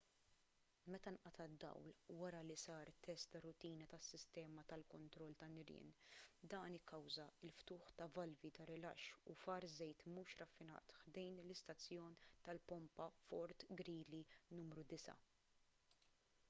meta nqata' d-dawl wara li sar test ta' rutina tas-sistema tal-kontroll tan-nirien dan ikkawża l-ftuħ ta' valvi ta' rilaxx u far żejt mhux raffinat ħdejn l-istazzjon tal-pompa fort greely nru 9